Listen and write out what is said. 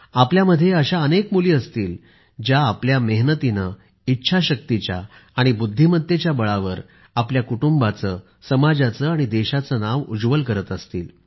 आपल्यामध्ये अशा अनेक मुली असतील ज्या आपल्या मेहनतीने इच्छाशक्तीच्या आणि बुद्धिमत्तेच्या बळावर आपल्या कुटुंबाचे समाजाचे आणि देशाचे नाव उज्वल करत असतील